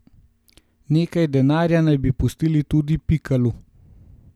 Nekaj denarja naj bi pustili tudi Pikalu.